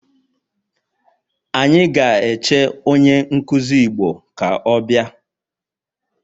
Anyi ga eche onye nkuzi igbo ka o bia